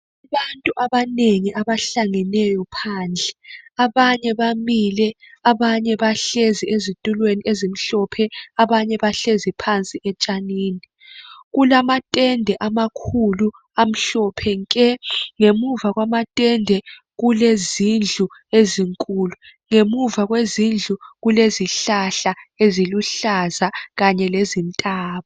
Abantu abanengi abahlangeneyo phandle abanye bamile abanye bahlezi ezitulweni ezimhlophe ,abanye bahlezi phansi etshanini Kulamatende amakhulu amhlophe nke ngemuva kwamatende kulezindlu ezinkulu, ngemuva kwezindlu kulezihlahla eziluhlaza kanye lezintaba.